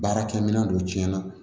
Baarakɛ minɛn dɔ tiɲɛna